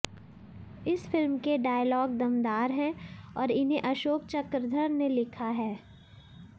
इस फिल्म के डायलॉग दमदार हैं और इन्हें अशोक चक्रधर ने लिखा है